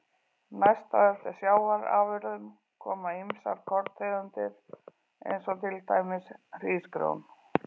Næst á eftir sjávarafurðum koma ýmsar korntegundir eins og til dæmis hrísgrjón.